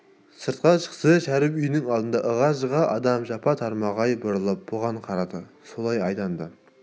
сыртқа шықса шәріп үйінің алды ығы-жығы адам жапа-тармағай бұрылып бұған қарады солай айдады